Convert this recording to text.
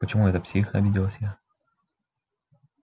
почему это псих обиделась я